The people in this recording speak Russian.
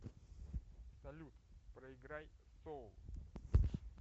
салют проиграй соул